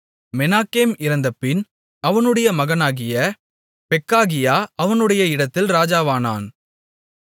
மெனாகேம் இறந்தபின் அவனுடைய மகனாகிய பெக்காகியா அவனுடைய இடத்தில் ராஜாவானான்